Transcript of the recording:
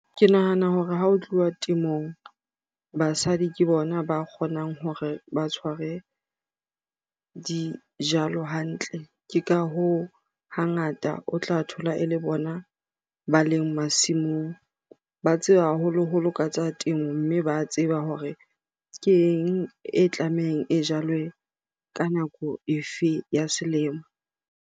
Ke nahana hore ha ho tluwa temong, basadi ke bona ba kgonang hore ba tshware dijalo hantle. Ke ka hoo, hangata o tla thola e le bona hona ba leng masimong. Ba tseba haholoholo ka tsa temo mme ba tseba hore keng e tlamehang e jalwe ka nako efe ya selemo.